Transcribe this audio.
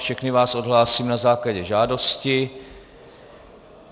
Všechny vás odhlásím na základě žádosti.